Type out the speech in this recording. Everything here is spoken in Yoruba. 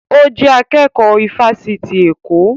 Ó jẹ́ akẹ́kọ̀ọ́ ifásitì Èkó